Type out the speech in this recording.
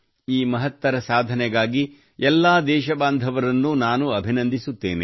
ಈ ಮಹತ್ತರ ಸಾಧನೆಗಾಗಿ ಎಲ್ಲಾ ದೇಶಬಾಂಧವರನ್ನು ನಾನು ಅಭಿನಂದಿಸುತ್ತೇನೆ